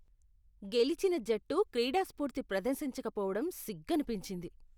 గెలిచిన జట్టు క్రీడాస్ఫూర్తి ప్రదర్శించక పోవటం సిగ్గనిపించింది.